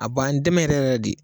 A b'an dɛmɛ yɛrɛ yɛrɛ de